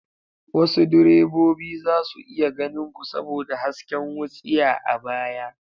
Wasu direbobi za su iya ganin ku saboda hasken wutsiya a baya.